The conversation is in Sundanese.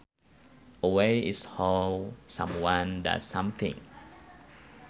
A way is how someone does something